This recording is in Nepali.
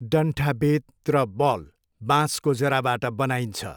डन्ठा बेत र बल बाँसको जराबाट बनाइन्छ।